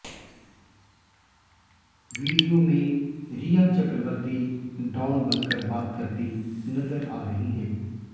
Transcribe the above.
video में Rhea Chakraborty don बनकर बात करती नजर आ रही हैं